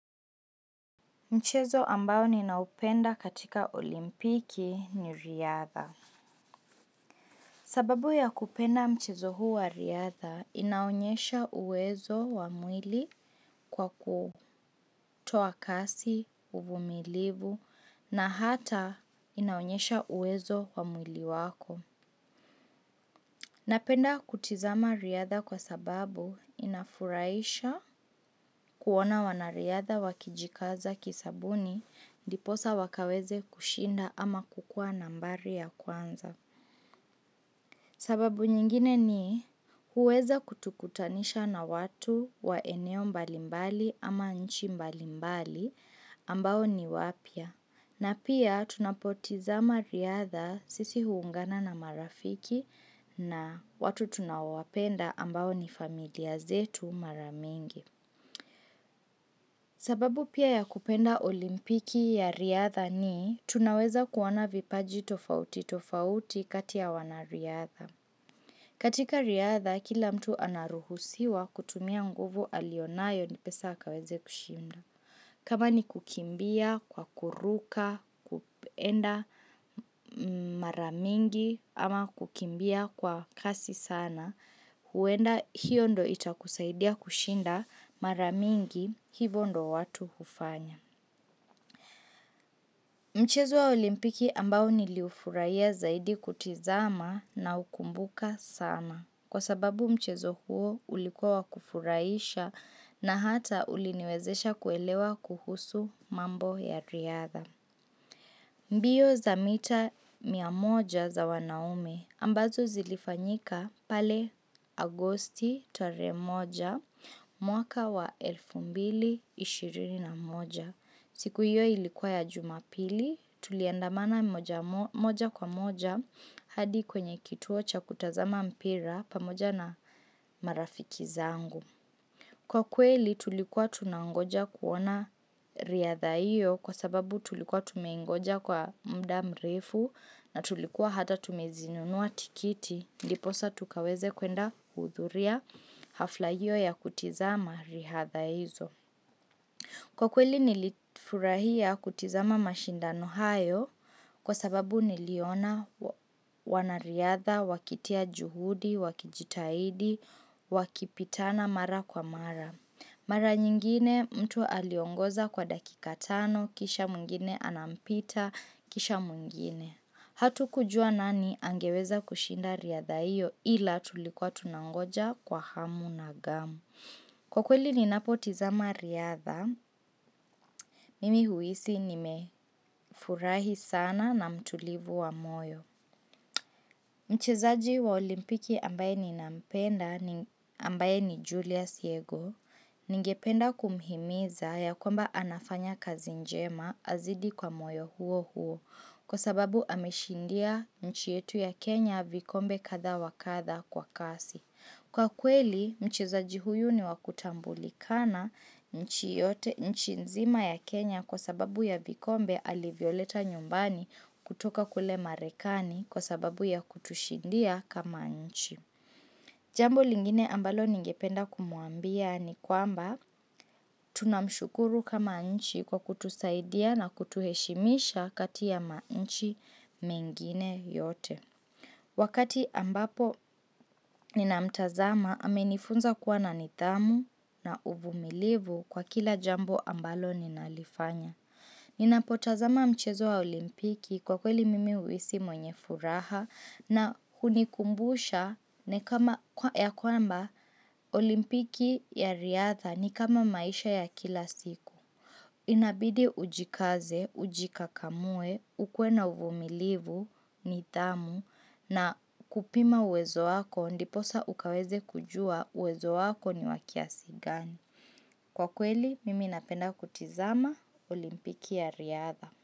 Mchezo ambao ninaupenda katika olimpiki ni riadha. Sababu ya kupenda mchezo huu wa riadha, inaonyesha uwezo wa mwili kwa kutoa kasi, uvumilivu, na hata inaonyesha uwezo wa mwili wako. Napenda kutizama riadha kwa sababu inafurahisha kuona wanariadha wakijikaza kisabuni ndiposa wakaweze kushinda ama kukuwa nambari ya kwanza. Sababu nyingine ni huweza kutukutanisha na watu wa eneo mbalimbali ama nchi mbalimbali ambao ni wapya. Na pia tunapotizama riadha sisi huungana na marafiki na watu tunaowapenda ambao ni familia zetu mara mingi. Sababu pia ya kupenda olimpiki ya riadha ni, tunaweza kuona vipaji tofauti tofauti katia wanariadha. Katika riadha, kila mtu anaruhusiwa kutumia nguvu alionayo ndipesa akaweze kushimda. Kama ni kukimbia kwa kuruka, kupenda mara mingi ama kukimbia kwa kasi sana, huenda hiyo ndo itakusaidia kushinda mara mingi hivo ndo watu hufanya. Mchezo wa olimpiki ambao niliufurahiya zaidi kutizama naukumbuka sama. Kwa sababu mchezo huo ulikuwa kufurahisha na hata uliniwezesha kuelewa kuhusu mambo ya riadha. Mbiyo za mita mia moja za wanaume, ambazo zilifanyika pale Agosti tarehe moja mwaka wa elfu mbili ishirini na moja. Siku hiyo ilikuwa ya Jumapili, tuliandamana moja kwa moja hadi kwenye kituo cha kutazama mpira pamoja na marafiki zangu. Kwa kweli tulikuwa tunangoja kuona riadha hiyo kwa sababu tulikuwa tumeingoja kwa muda mrefu na tulikuwa hata tumezinunua tikiti. Ndiposa tukaweze kwenda kuhudhuria hafla hiyo ya kutizama riadha hizo. Kwa kweli nilifurahia kutizama mashindano hayo kwa sababu niliona wanariadha wakitia juhudi, wakijitahidi, wakipitana mara kwa mara. Mara nyingine mtu aliongoza kwa dakika tano, kisha mwingine anampita, kisha mwingine. Hatukujua nani angeweza kushinda riadha iyo ila tulikuwa tunangoja kwa hamu na ghamu. Kwa kweli ninapotizama riadha, mimi huhisi nimefurahi sana na mtulivu wa moyo. Mchezaji wa olimpiki ambaye ninampenda ambaye ni Julius Yego ningependa kumhimiza ya kwamba anafanya kazi njema azidi kwa moyo huo huo kwa sababu ameshindia nchi yetu ya Kenya vikombe kadha wa kadha kwa kasi. Kwa kweli, mchezaji huyu ni wa kutambulikana nchi yote nchi nzima ya Kenya kwa sababu ya vikombe alivyoleta nyumbani kutoka kule marekani kwa sababu ya kutushindia kama nchi. Jambo lingine ambalo ningependa kumuambia ni kwamba tunamshukuru kama nchi kwa kutusaidia na kutuheshimisha kati ya manchi mengine yote. Wakati ambapo ninamtazama amenifunza kuwa na nidhamu na uvumilivu kwa kila jambo ambalo ninalifanya. Ninapotazama mchezo wa olimpiki kwa kweli mimi huhisi mwenye furaha na hunikumbusha ya kwamba olimpiki ya riadha ni kama maisha ya kila siku. Inabidi ujikaze, ujikakamue, ukuwe na uvumilivu, nidhamu, na kupima uwezo wako, ndiposa ukaweze kujua uwezo wako ni wa kiasi gani. Kwa kweli, mimi napenda kutizama olimpiki ya riadha.